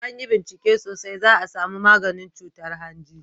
in an yi bincike sosai za a samu maganin cutar hanji